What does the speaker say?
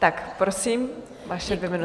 Tak prosím, vaše dvě minuty.